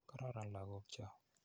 Kororon lagok cho.